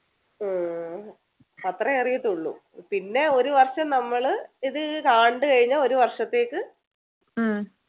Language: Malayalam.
ഉം അത്രയേ അറിയത്തുള്ളു പിന്നെ ഒരു വർഷം ഇത് കണ്ടു കഴിഞ്ഞാ ഒരു വർഷത്തേക്ക്